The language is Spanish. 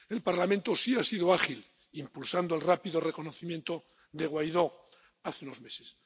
El Parlamento sí ha sido ágil, impulsando el rápido reconocimiento de Guaidó hace unos meses.